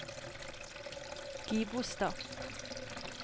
Gibostad